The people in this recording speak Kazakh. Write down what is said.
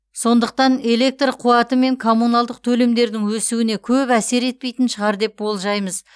сондықтан электр қуаты мен коммуналдық төлемдердің өсуіне көп әсер етпейтін шығар деп болжаймыз